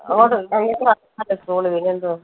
പിന്നെന്തുവാ